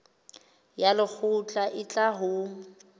ya lekgotla e tla ho